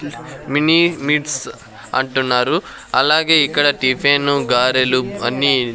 mini మిట్స్ అంటున్నారు అలాగే ఇక్కడ టిఫెను గారెలు అన్నీ--